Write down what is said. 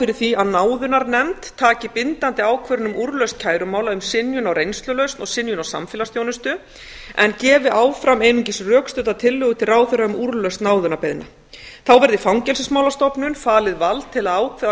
fyrir því að náðunarnefnd taki bindandi ákvörðun um úrlausn kærumála um synjun á reynslulausn og synjun á samfélagsþjónustu en gefi áfram einungis rökstudda tillögu til ráðherra um úrlausn náðunarbeiðna þá verði fangelsismálastofnun falið vald til að ákveða